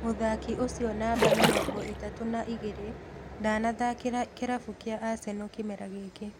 Mũthaki ũcio namba mĩrongo ĩtatũ na igĩrĩ ndanathakĩra kĩrabu kĩa Arsenal kĩmera gĩkĩ